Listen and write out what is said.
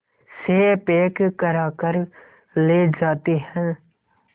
से पैक कराकर ले जाते हैं